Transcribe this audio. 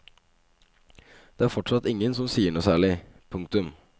Det er fortsatt ingen som sier noe særlig. punktum